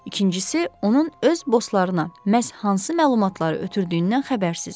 İkincisi, onun öz bosslarına məhz hansı məlumatları ötürdüyündən xəbərsizik.